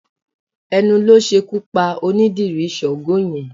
Ẹnu ló ṣekú pa onídìrí Sáńgo yẹn